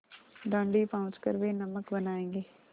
दाँडी पहुँच कर वे नमक बनायेंगे